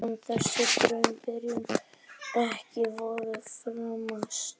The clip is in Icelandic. Er þessi draumabyrjun ekki vonum framar?